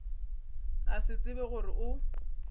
a se tsebe gore o